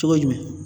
Cogo jumɛn